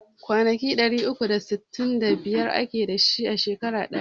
Kwanaki ɗari uku da sittin da biyar ake dasu a shekara daya